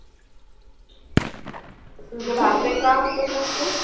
तुझे काय मग ते?